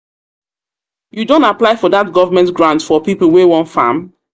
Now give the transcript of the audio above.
You don apply for that government grant for people wey wan farm?